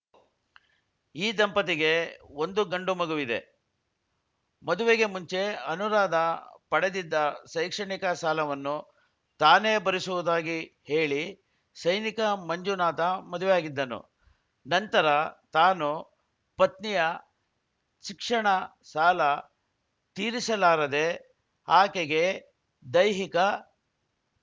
ಈ ದಂಪತಿಗೆ ಒಂದು ಗಂಡು ಮಗುವಿದೆ ಮದುವೆಗೆ ಮುಂಚೆ ಅನುರಾಧ ಪಡೆದಿದ್ದ ಶೈಕ್ಷಣಿಕ ಸಾಲವನ್ನು ತಾನೇ ಭರಿಸುವುದಾಗಿ ಹೇಳಿ ಸೈನಿಕ ಮಂಜುನಾಥ ಮದುವೆಯಾಗಿದ್ದನು ನಂತರ ತಾನು ಪತ್ನಿಯ ಶಿಕ್ಷಣ ಸಾಲ ತೀರಿಸಲಾರದೇ ಆಕೆಗೆ ದೈಹಿಕ